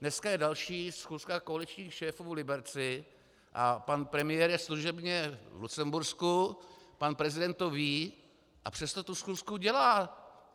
Dneska je další schůzka koaličních šéfů v Liberci a pan premiér je služebně v Lucembursku, pan prezident to ví, a přesto tu schůzku dělá.